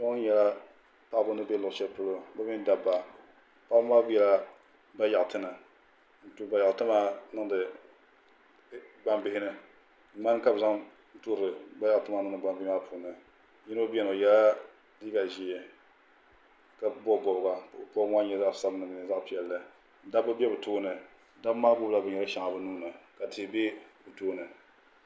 Kpɛ ŋo nyɛla paɣaba ni bɛ luɣu shɛli polo bi mini dabba paɣaba maa biɛla bayaɣati ni n tooi bayaɣati maa niŋdi gbambihi ni ŋmani ka bi zaŋ tooi bayaɣati maa niŋdi gbambihi maa puuni yino biɛni o yɛla liiga ʒiɛ ka bob bobga ka bobga maa nyɛ zaɣ sabinli mini zaɣ ʒiɛ dabba bɛ bi tooni dabba maa gbunila binyɛri shɛŋa bi nuuni ka tihi bɛ bi tooni